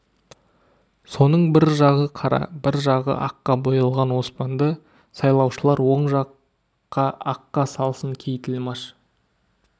соның бір жағы қара бір жағы аққа боялған оспанды сайлаушылар оң жаққа аққа салсын кей тілмаш